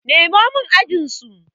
Nemo min ajinsu!